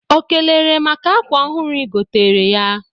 O kelere maka akwa ọhụrụ ị gotere ya?